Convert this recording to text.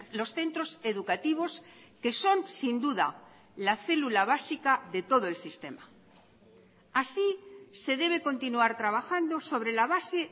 los centros educativos que son sin duda la célula básica de todo el sistema así se debe continuar trabajando sobre la base